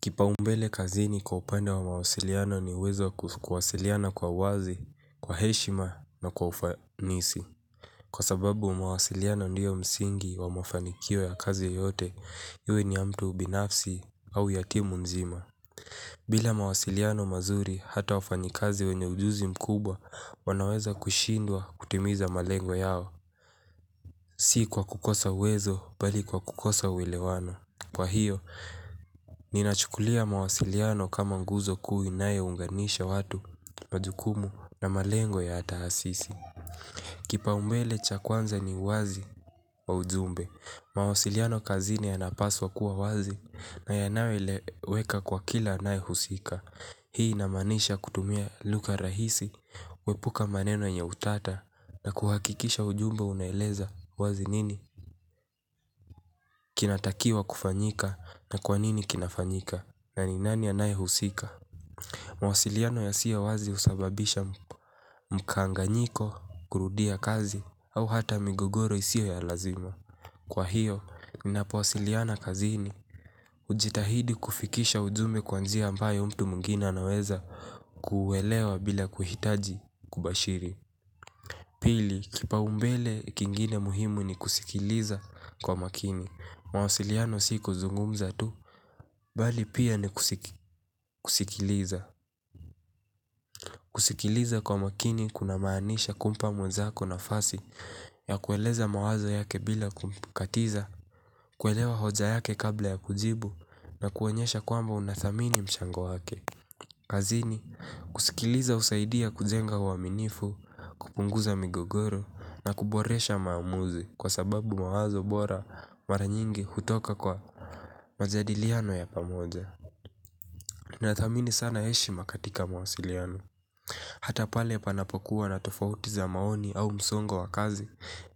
Kipa umbele kazini kwa upande wa mawasiliano ni uwezo wa kuwasiliana kwa wazi, kwa heshima na kwa ufanisi. Kwa sababu mawasiliano ndio msingi wa mafanikio ya kazi yote iwe ni ya mtu binafsi au yatimu nzima. Bila mawasiliano mazuri hata wafanyikazi wenye ujuzi mkubwa wanaweza kushindwa kutimiza malengo yao. Si kwa kukosa uwezo bali kwa kukosa uelewano. Kwa hiyo, ninachukulia mawasiliano kama nguzo kuu inayounganisha watu, majukumu na malengo ya tahasisi. Kipa umbele cha kwanza ni uwazi wa ujumbe. Mawasiliano kazini yanapaswa kuwa wazi na yanayoeleweka kwa kila anayehusika. Hii inamaanisha kutumia lugha rahisi, kuepuka maneno yenye utata na kuhakikisha ujumbe unaeleza wazi nini. Kinatakiwa kufanyika na kwa nini kinafanyika. Na ni nani anayehusika. Mawasiliano yasiyo wazi husababisha mkankanyiko kurudia kazi au hata migogoro isio ya lazima. Kwa hiyo, mnapowasiliana kazini ujitahidi kufikisha ujumbe kwa njia ambayo mtu mwingine anaweza kuelewa bila kuhitaji kubashiri. Pili, kipa umbele kingine muhimu ni kusikiliza kwa makini. Mawasiliano si kuzungumza tu. Bali pia ni kusikiliza kusikiliza kwa umakini kunamaanisha kumpa mwenzako nafasi ya kueleza mawazo yake bila kumkatiza kuelewa hoja yake kabla ya kujibu na kuonyesha kwamba unathamini mchango wake. Kazini, kusikiliza husaidia kujenga uaminifu kupunguza migogoro na kuboresha maamuzi. Kwa sababu mawazo bora maranyingi hutoka kwa majadiliano ya pamoja na thamini sana heshima katika mawasiliano. Hata pale panapokuwa na tofauti za maoni au msongo wa kazi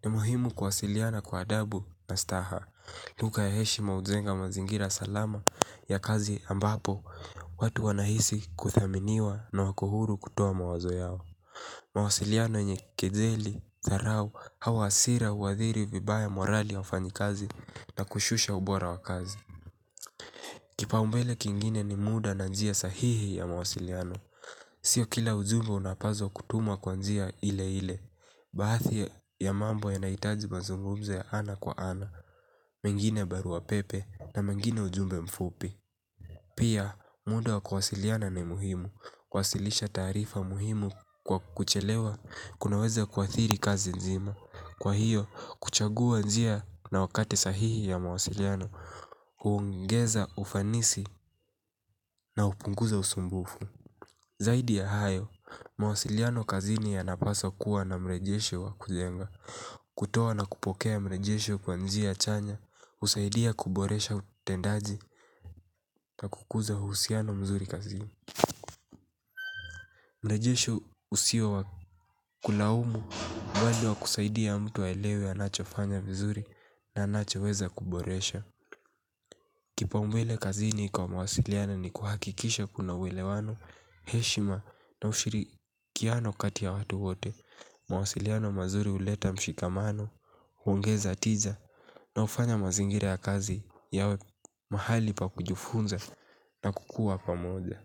ni muhimu kwasiliana kwa adabu na staha. Lugha ya heshima hujenga mazingira salama ya kazi ambapo watu wanahisi kuthaminiwa na wako huru kutoa mawazo yao. Mawasiliano yenye kejeli, dharao au hasira huathiri vibaya morali ya ufanyi kazi na kushusha ubora wa kazi. Kipa umbele kingine ni muda na njia sahihi ya mawasiliano. Sio kila ujumbe unapazwa kutumwa kwa njia ile ile. Baadhi ya mambo yanahitaji mazungumzo ya ana kwa ana. Mengine barua pepe na mengine ujumbe mfupi. Pia, muda wa kuwasiliana ni muhimu. Kuwasilisha taarifa muhimu kwa kuchelewa kunaweza kuathiri kazi nzima. Kwa hiyo, kuchagua njia na wakati sahihi ya mawasiliano huongeza ufanisi na hupunguza usumbufu. Zaidi ya hayo, mawasiliano kazini yanapaswa kuwa na mrejesho wa kujenga kutoa na kupokea mrejesho kwa njia chanya husaidia kuboresha utendaji na kuguza uhusiano mzuri kazini mrejesho husio wa kulaumu bali husaidia mtu aelewe anachofanya vizuri na anachoweza kuboresha. Kipa umbele kazini kwa mawasiliana ni kuhakikisha kuna uelewano, heshima na ushirikiano kati ya watu wote, mawasiliana mazuri huleta mshikamano, huongeza tiza na hufanya mazingira ya kazi yawe mahali pa kujifunza na kukua pamoja.